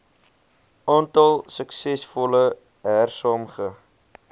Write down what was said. aantal suksesvolle hersaamge